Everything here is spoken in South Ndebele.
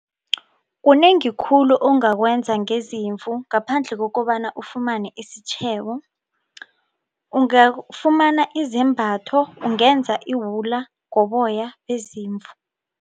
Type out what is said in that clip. Kunengi khulu ongakwenza ngezimvu ngaphandle kokobana ufumane isitjhebo ungafumana izembatho ungenza iwula ngoboya bezimvu.